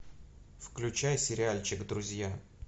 включай сериальчик друзья